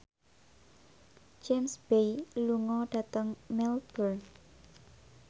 James Bay lunga dhateng Melbourne